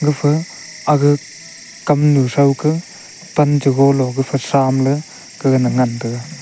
gapha aga kamnu throu ka pan cho gola gapha samley kagana ngan taiga.